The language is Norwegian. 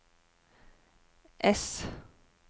ess